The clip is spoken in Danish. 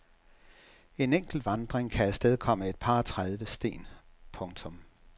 En enkelt vandring kan afstedkomme et par og tredive sten. punktum